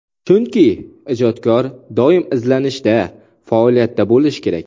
Chunki, ijodkor doim izlanishda, faoliyatda bo‘lishi kerak.